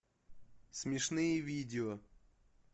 смешные видео